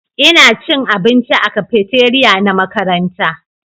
Ina cin abinci a cafeteria na makaranta